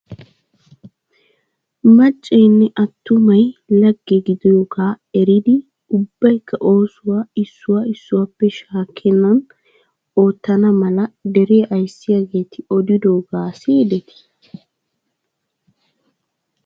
Maccaynne atummay lagge gidiyooga eriddi ubaykka oosuwaa issuwaa issuwaappe shaakenani oottana malla deriyaa ayssiyaagetti odidoogga siyidetti?